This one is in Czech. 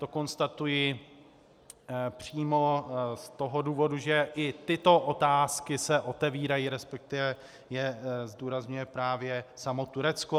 To konstatuji přímo z toho důvodu, že i tyto otázky se otevírají, respektive je zdůrazňuje právě samo Turecko.